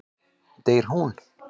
Deyr hún?